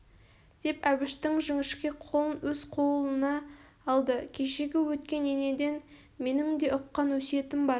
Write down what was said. деп әбіштің жіңішке қолын өз қолына алды кешегі өткен енеден менің де ұққан өсиетім бар